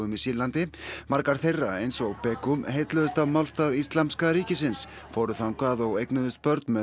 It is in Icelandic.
í Sýrlandi margar þeirra eins og heilluðust af málstað Íslamska ríkisins fóru þangað og eignuðust börn með